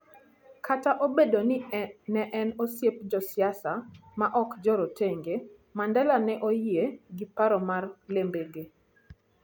Kata obedo ni ne en osiep josiasa ma ok jorotenge, Mandela ne oyie gi paro mar Lembede,